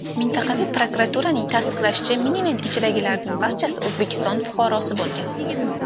Mintaqaviy prokuraturaning tasdiqlashicha, miniven ichidagilarning barchasi O‘zbekiston fuqarosi bo‘lgan.